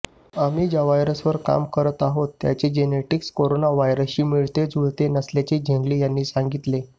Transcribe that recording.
आम्ही ज्या व्हायरसवर काम करत आहोत त्याचे जेनेटिक्स कोरोना व्हायरसशी मिळतेजुळते नसल्याचे झेंगली यांनी सांगितले